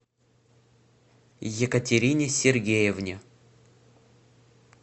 екатерине сергеевне